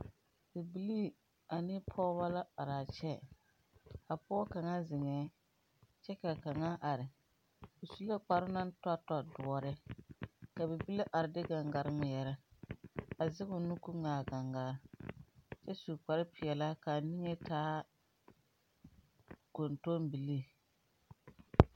Bibilii ane pɔgebɔ la araa kyɛ. A pɔge kaŋa zeŋɛɛŋ kyɛ ka kaŋa are. O Su la kparoo naŋ tɔtɔ doɔre, ka bibile are de gaŋgare ŋmeɛrɛ, a zɛgoo nu koo ŋmɛ a gaŋgaa, kyɛ su kparepelaa koo taa kɔntɔmbilii.